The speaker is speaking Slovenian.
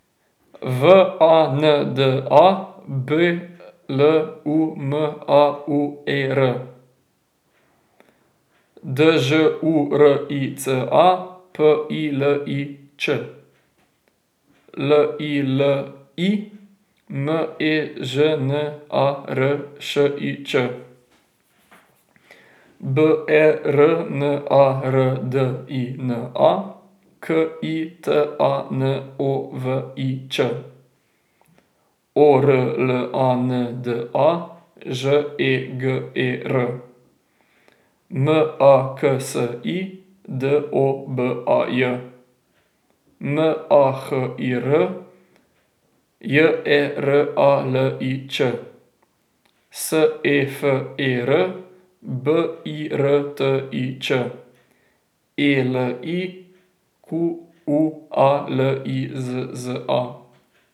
W A N D A, B L U M A U E R; Đ U R I C A, P I L I Ć; L I L I, M E Ž N A R Š I Č; B E R N A R D I N A, K I T A N O V I Ć; O R L A N D A, Ž E G E R; M A X I, D O B A J; M A H I R, J E R A L I Č; S E F E R, B I R T I Č; E L I, Q U A L I Z Z A.